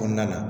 Kɔnɔna na